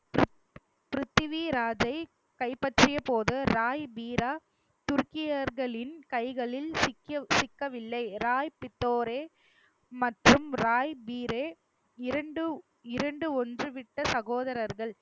பிரித்வி ராஜை கைப்பற்றிய போது ராய் பீரா துர்க்கியர்களின் கைகளில் சிக்கிய சிக்கவில்லை ராய்பித்தோரே மற்றும் ராய் பீரே இரண்டு இரண்டு ஒன்று விட்ட சகோதரர்கள்